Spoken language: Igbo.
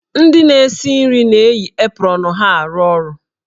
Ndị na-esi nri na-eyi aprọnụ ha arụ ọrụ.